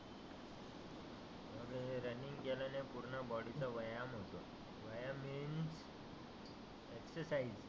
Running केल्याने पुर्ण body चा व्यायाम होतो. व्यायाम मिन्स एक्सरसाइज